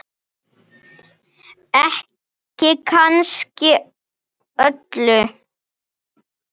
Ekki kannski öllu.